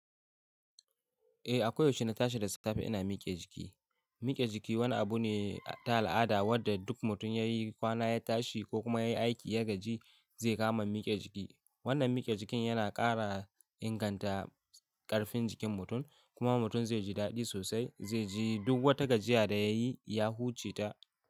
Eh, a koyaushe na tashi da safe ina miƙe jiki. Miƙe jiki wani abu ne ta al'ada wanda duk mutum ya yi kwana ya tashi ko kuma ya yi aiki ya gaji, zai kama miƙe jiki. Wannan miƙe jikin yana ƙara inganta ƙarfin jikin mutum kuma mutum zai ji daɗi sosai. Zai ji duk wata gajiya da ya yi ya huce ta.